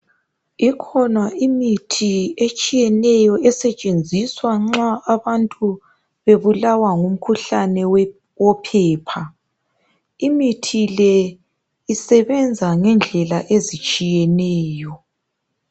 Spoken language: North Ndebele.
Ikhona imithi etshiyeneyo esetshenziswa nxa abantu bebulalwa ngumkhuhlane wophepha imithi le isebenza ngendlela ezitshiyeneyo